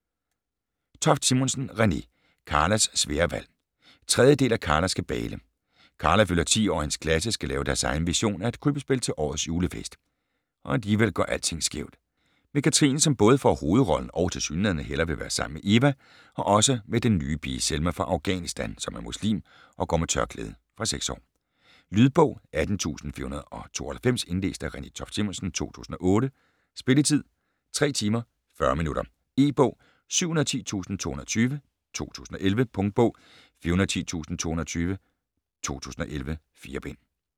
Toft Simonsen, Renée: Karlas svære valg 3. del af Karlas kabale. Karla fylder 10 år og hendes klasse skal lave deres egen version af et krybbespil til årets julefest, og alligevel går alting skævt. Med Katrine som både får hovedrollen og tilsyneladende hellere vil være sammen med Eva, og også med den nye pige Selma fra Afghanistan som er muslim og går med tørklæde. Fra 6 år. Lydbog 18492 Indlæst af Renée Toft Simonsen, 2008. Spilletid: 3 timer, 40 minutter. E-bog 710220 2011. Punktbog 410220 2011. 4 bind.